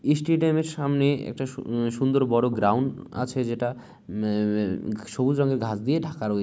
ইস্টেডিয়ামের -এর সামনে উম একটি সুন সুন্দর বড় গ্রাউন্ড আছে যেটা ম্যা ম্যা সবুজ রং এর ঘাস দিয়ে ঢাকা রয়ে--